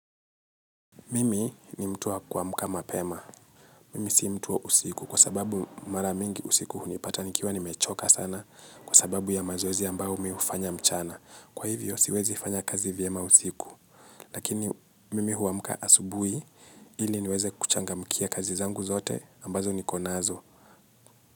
Mimi ni mtu wa kuamka mapema. Mimi si mtu wa usiku kwa sababu mara mingi usiku hunipata nikiwa nimechoka sana kwa sababu ya mazoezi ambayo mi hufanya mchana. Kwa hivyo siwezi fanya kazi vyema usiku. Lakini mimi huamka asubuhi ili niweze kuchangamkia kazi zangu zote ambazo niko nazo.